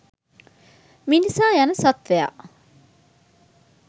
මිනිසා යන සත්ත්වයා